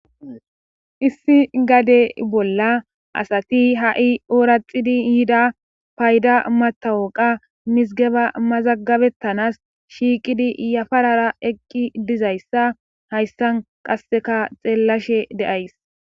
issi gade bolla asati ha7i ooraxidi yida payda matawoqa misigeba mazagabettanas shiiqidi yafarara eqqi dizayssa hayssan qasseka xeellashe deays